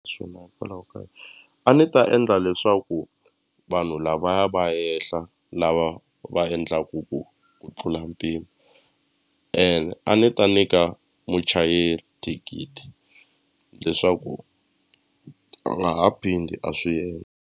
Swona hikwalaho ka a ni ta endla leswaku vanhu lavaya va yehla lava va endlaku ku tlula mpimo ene a ni ta nyika muchayeri thikithi leswaku a nga ha phindi a swi endla.